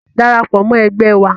Darapọ̀ mọ́ ẹgbẹ́ wa.